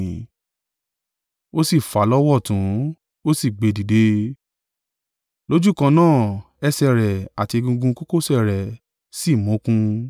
Ó sì fà á lọ́wọ́ ọ̀tún, ó sì gbé dìde; lójúkan náà ẹsẹ̀ rẹ̀ àti egungun kókósẹ̀ rẹ̀ sì mókun.